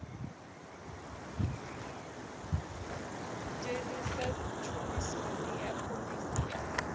dzheniswa tshumisoni ha phoḽisi na